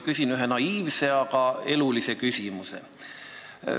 Küsin ühe naiivse, aga elulise küsimuse.